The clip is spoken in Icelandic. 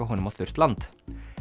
honum á þurrt land